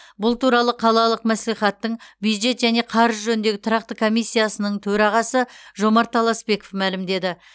бұл туралы қалалық мәслихаттың бюджет және қаржы жөніндегі тұрақты комиссиясының төрағасы жомарт таласпеков мәлімдеді